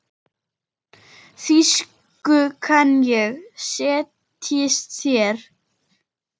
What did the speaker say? Þýsku kann ég, setjist þér.